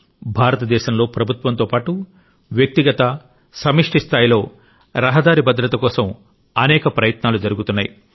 భారతదేశంలో ప్రభుత్వంతో పాటు వ్యక్తిగత సమష్టి స్థాయిలో రహదారి భద్రత కోసం అనేక ప్రయత్నాలు జరుగుతున్నాయి